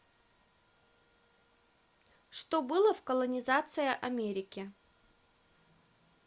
что было в колонизация америки